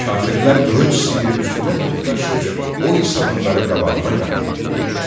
Kafirlər qılınc sıyıb üstünə toplaşır, o isə onları qabağına qatıb qovur.